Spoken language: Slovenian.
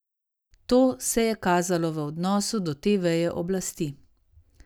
To se je kazalo v odnosu do te veje oblasti.